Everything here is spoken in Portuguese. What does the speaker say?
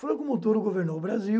Franco Montoro governou o Brasil,